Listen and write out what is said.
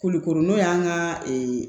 Kulukoro n'o y'an ka